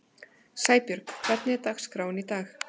Sæbjörg, hvernig er dagskráin í dag?